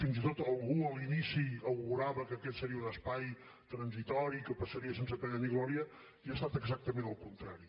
fins i tot algú a l’inici augurava que aquest seria un espai transitori que passaria sense pena ni gloria i ha estat exactament el contrari